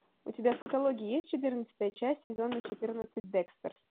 у тебя в каталоге есть четырнадцатая часть сезона четырнадцать декстер